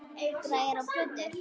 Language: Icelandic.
Græjur og plötur.